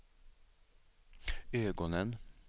ögonen